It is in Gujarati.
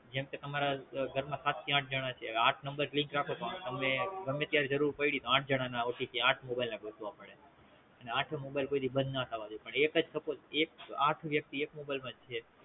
જેમકે તામર ઘરના સાત થી આઠ જણા છે આઠ Number link રાખો તમને ગમે ત્યારે જરૂર પડી તો આઠ જણા ના OTP આઠ મોબાઇલ ગોતવા પડે અને આઠે મોબાઇલ કોઈ દી બંધ ના થાવા પડે પણ એકજ Suppose આઠ વ્યક્તિ એકજ મોબાઇલ માં થવા પડે